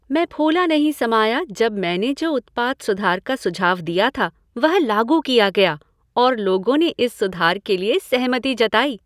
मैं फूला नहीं समाया जब मैंने जो उत्पाद सुधार का सुझाव दिया था, वह लागू किया गया और लोगों ने इस सुधार के लिए सहमति जताई।